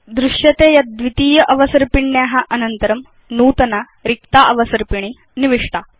वयं पश्याम यत् द्वितीय अवसर्पिण्या अनन्तरं नूतना रिक्ता अवसर्पिणी निविष्टा